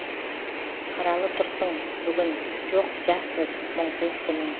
қаралы тұрсың бүгін жоқ жассыз мұңсыз күнің